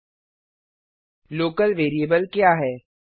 local local variable क्या है